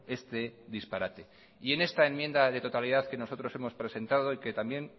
este disparate en esta enmienda de totalidad que nosotros hemos presentado y que también